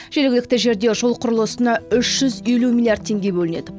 жергілікті жерде жол құрылысына үш жүз елу миллиард тенге бөлінеді